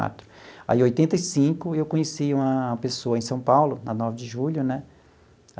Quatro aí, em oitenta e cinco, eu conheci uma pessoa em São Paulo, na nove de julho né?